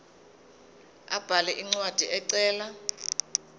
abhale incwadi ecela